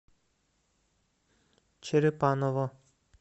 черепаново